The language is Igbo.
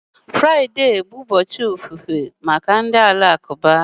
Friday bụ ụbọchị ofufe maka ndị Alakụba